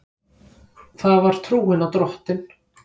Það var trúin á Drottin.